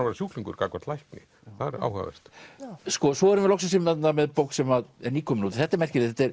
vera sjúklingur gagnvart lækni það er áhugavert svo erum við loksins með bók sem er nýkomin út þetta er merkilegt þetta er